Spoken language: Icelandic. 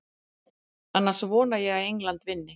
Annars vona ég að England vinni.